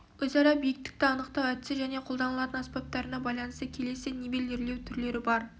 өзара биіктікті анықтау әдісі және қолданылатын аспаптарына байланысты келесі нивелирлеу түрлері бар